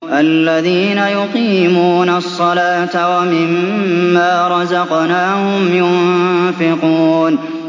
الَّذِينَ يُقِيمُونَ الصَّلَاةَ وَمِمَّا رَزَقْنَاهُمْ يُنفِقُونَ